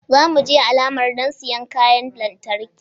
Za mu je alamar don siyan kayan lantarki